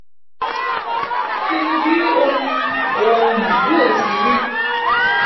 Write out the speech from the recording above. pinnu bi ohun ohun yóó ti ri.